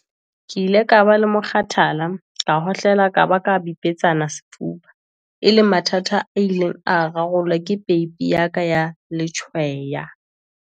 "Ke ile ka ba le mokgathala, ka hohlola ka ba ka bipetsana sefuba, e leng mathata a ileng a rarollwa ke peipi ya ka ya letshweya."